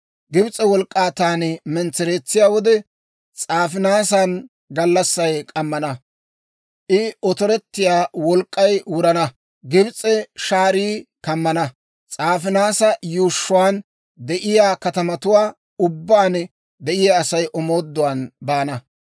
Gibs'e wolk'k'aa taani mentsereetsiyaa wode, S'aafinaasan gallassay k'ammana; I otorettiyaa wolk'k'ay wurana; Gibs'a shaarii kammana; S'aafinaasa yuushshuwaan de'iyaa katamatuwaa ubbaan de'iyaa Asay omooduwaan baana.